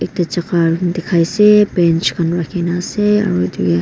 ete dikhai ase bench khan rakhi ne ase aru.